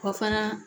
Kɔ fana